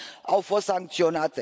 au fost sancționate.